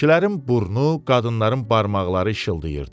Kişilərin burnu, qadınların barmaqları işıldayırdı.